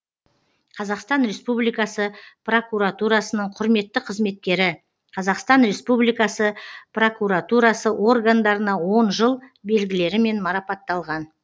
қазақстан республикасы прокуратурасының құрметті қызметкері қазақстан республикасы прокуратурасы органдарына он жыл белгілерімен марапатталған